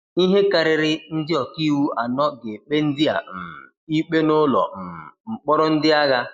ihe karịrị ndị ọka iwu anọ ga-ekpe ndị a um ikpe n'ụlọ um mkpọrọ ndị agha